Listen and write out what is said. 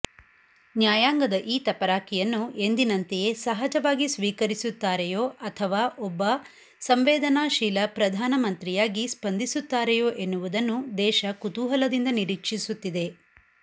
ನ್ಯಾಯಾಂಗದ ಈ ತಪರಾಕಿಯನ್ನು ಎಂದಿನಂತೆಯೇ ಸಹಜವಾಗಿ ಸ್ವೀಕರಿಸುತ್ತಾರೆಯೋ ಅಥವಾ ಒಬ್ಬ ಸಂವೇದನಾಶೀಲ ಪ್ರಧಾನಮಂತ್ರಿಯಾಗಿ ಸ್ಪಂದಿಸುತ್ತಾರೆಯೋ ಎನ್ನುವುದನ್ನು ದೇಶ ಕುತೂಹಲದಿಂದ ನಿರೀಕ್ಷಿಸುತ್ತಿದೆ